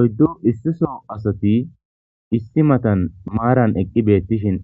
Oyddu issiso asati issi matan maaran eqqi beettishin